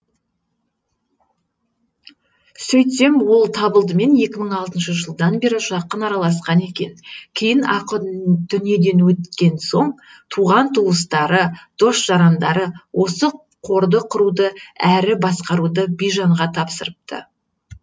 сөйтсем ол табылдымен екі мың алтыншы жылдан бері жақын араласқан екен кейін ақын дүниеден қайтқан соң туған туыстары дос жарандары осы қорды құруды әрі басқаруды бижанға тапсырыпты